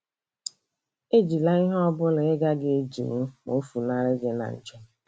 Ejila ihe ọ bụla ị gaghị edinwu ma o funarị gị na njem.